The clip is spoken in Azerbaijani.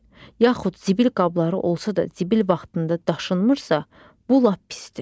Yaxud zibil qabları olsa da zibil vaxtında daşınmırsa, bu lap pisdir.